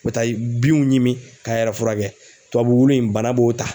U bɛ taa binw ɲimi k'a yɛrɛ furakɛ, tubabu wulu in bana b'o ta.